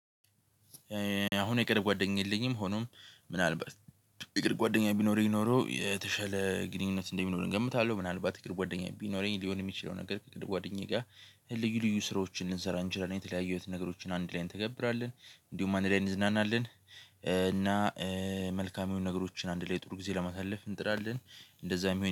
አሁን የቅርብ ጓደኛ የለኝም። ሆኖም ምናልባት የቅርብ ጓደኛ ቢኖረኝ ኖሮ የተሻለ ግንኙነት እንደሚኖር እገምታለሁ። ምናልባት የእግር ጓደኛ ቢኖረኝ ሊሆን የሚችለው ነገር ከጓደኛዬ ጋር ልዩ ልዩ ስራዎችን ልንሰራ እንችላለን። የተለያዩ አይነት ነገሮችን አንድ ላይ እንተገብራለን እንዲሁም አንድ ላይ እንዝናናለን። እና መልካም የሆኑ ነገሮችን አንድ ላይ ጥሩ ጊዜ ለማሳለፍ እንጥራለን። እንደዛ